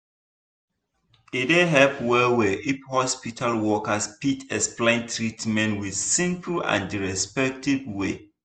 e dey help well well if hospital workers fit explain treatment with simple and respectful way.